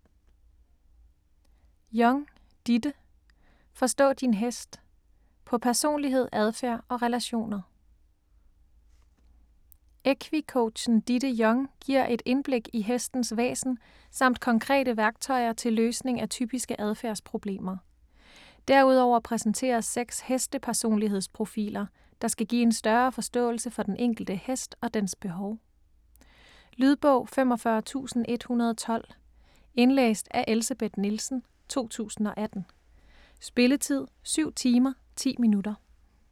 Young, Ditte: Forstå din hest: på personlighed, adfærd og relationer Equi-coachen Ditte Young giver et indblik i hestens væsen samt konkrete værktøjer til løsning af typiske adfærdsproblemer. Derudover præsenteres 6 heste-personlighedsprofiler, der skal give en større forståelse for den enkelte hest og dens behov. Lydbog 45112 Indlæst af Elsebeth Nielsen, 2018. Spilletid: 7 timer, 10 minutter.